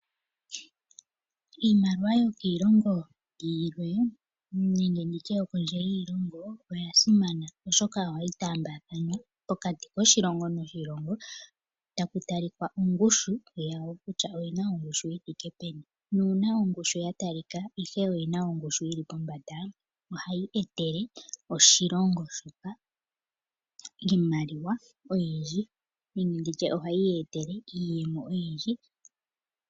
Iimaliwa yokiilongo yilwe nenge nditye yokondje yiilongo oyasimana oshoka ohayi taambathanwa pokati koshilongo noshilongo taku talika ongushu yawo kkutya oyina ongushu yithike peni na una ongushu yatalika ihe oyina ongushu yili pombada ohayi etele oshilongo shoka iimaliwa oyindji nenge nditye ohayi yetele iiyemo oyindji.